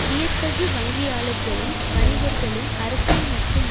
வியத்தகு வங்கியாளர்களும் வணிகர்களும் அரசியல் மற்றும்